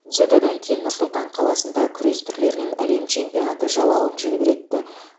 дзюдодан кейін нұр сұлтан қаласында күрес түрлерінен әлем чемпионаты жалауын желбіретті